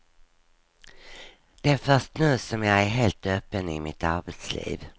Det är först nu som jag är helt öppen i mitt arbetsliv.